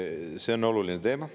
See on oluline teema.